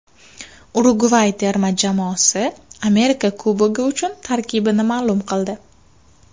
Urugvay terma jamoasi Amerika Kubogi uchun tarkibini ma’lum qildi.